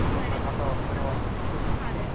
അങ്ങനത്തെ അവസ്ഥ വന്നിട്ടുണ്ട് .